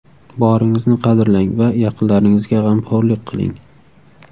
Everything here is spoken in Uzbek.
Boringizni qadrlang va yaqinlaringizga g‘amxo‘rlik qiling.